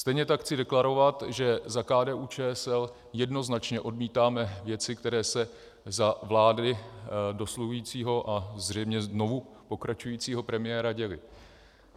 Stejně tak chci deklarovat, že za KDU-ČSL jednoznačně odmítáme věci, které se za vlády dosluhujícího a zřejmě znovu pokračujícího premiéra děly.